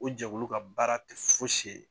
O jɛkulu ka baara kɛ fosi ye